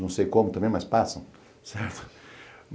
não sei como também, mas passam, certo?